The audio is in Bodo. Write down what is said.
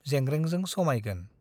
जेंग्रेंजों समाइगोन ।